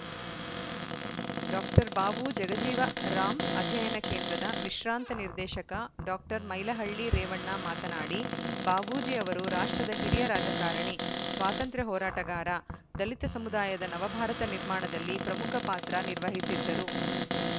doctor Babu Jagjivan Ram ಅಧ್ಯಯನ ಕೇಂದ್ರದ ವಿಶ್ರಾಂತ ನಿರ್ದೇಶಕ ಡಾಕ್ಟರ್ ಮೈಲಹಳ್ಳಿ ರೇವಣ್ಣ ಮಾತನಾಡಿ ಬಾಬೂಜಿ ಅವರು ರಾಷ್ಟ್ರದ ಹಿರಿಯ ರಾಜಕಾರಣಿ ಸ್ವಾತಂತ್ರ್ಯ ಹೋರಾಟಗಾರ ದಲಿತ ಸಮುದಾಯದ ನವಭಾರತ ನಿರ್ಮಾಣದಲ್ಲಿ ಪ್ರಮುಖ ಪಾತ್ರ ನಿರ್ವಹಿಸಿದ್ದರು